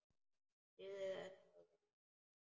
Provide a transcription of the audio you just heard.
Drífðu þetta þá í þig.